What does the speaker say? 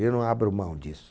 Eu não abro mão disso.